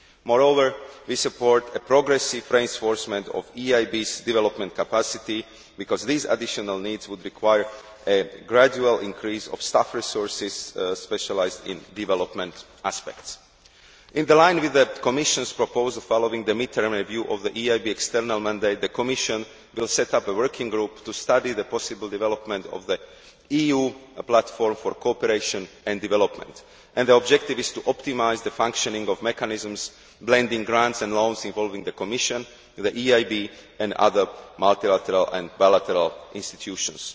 Moreover, we support a progressive reinforcement of the EIB's development capacity because these additional needs would require a gradual increase of staff resources specialised in development aspects. In line with the Commission's proposal following the mid term review of the EIB external mandate, the Commission will set up a working group to study the possible development of the EU platform for cooperation and development. The objective is to optimise the functioning of mechanisms, blending grants and loans involving the Commission, the EIB and other multilateral and bilateral institutions.